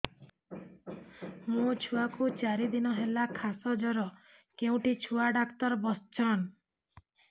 ମୋ ଛୁଆ କୁ ଚାରି ଦିନ ହେଲା ଖାସ ଜର କେଉଁଠି ଛୁଆ ଡାକ୍ତର ଵସ୍ଛନ୍